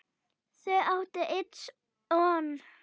Þau áttu einn son.